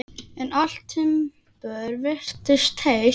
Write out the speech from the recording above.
En allt timbur virtist heilt.